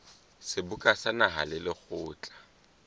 seboka sa naha le lekgotla